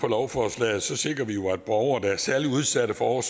lovforslaget sikrer vi jo at borgere der er særlig udsat for